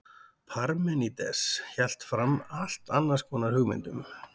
parmenídes hélt fram allt annars konar hugmyndum